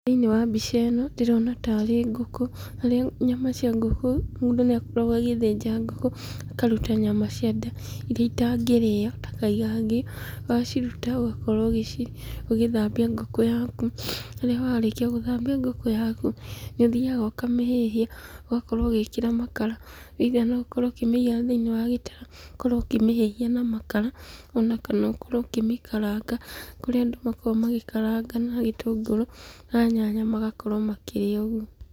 Thĩinĩ wa mbica ĩno ndĩrona tarĩ ngũkũ, harĩa nyama cia ngũkũ, mũndũ nĩakoragwo agĩthĩnja ngũkũ, akaruta nyama cia nda iria itangĩrĩo ta kagaingio ,waciruta ũgagĩkorwo ũkĩthambia ngũkũ yaku, harĩa warĩkia kũthambia ngũkũ yaku, nĩũthiaga ũkamĩhĩhia, ũgakorwo ũgĩikĩra makara, either noũkorwo ũkĩmĩiga thĩinĩ wa gĩtara ũkorwo ũkĩmĩhĩhia na makara kana ũkorwo ũkĩmĩkaranga kũrĩ andũ makoragwa magĩkaranga na itũngũrũ na nyanya kana nyama makĩrĩa ũgu.